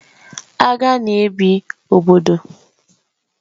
Agha na ebi obodo